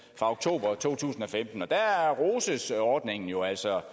fra oktober to tusind og femten og der roses ordningen jo altså